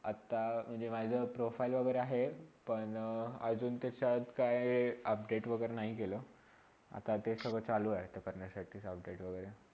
आता माझे profile वैगरे हाय पण अजून त्याचात काय update वागेरे नाही केला आता ते सगळे चालू आहे तर ते करण्यासाठी update वैगरे